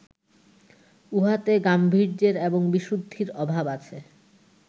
উহাতে গাম্ভীর্যের এবং বিশুদ্ধির অভাব আছে